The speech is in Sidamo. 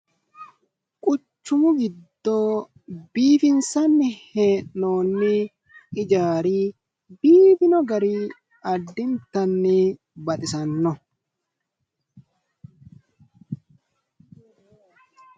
Quchumu giddo biifinsanni hee'noonni hijaari biifino gari addintanni baxisanno.